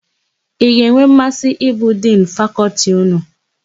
Ị ga-enwe mmasị ịbụ Dinu Fakọltị ụnụ?